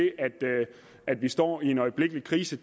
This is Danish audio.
at vi står i en øjeblikkelig krise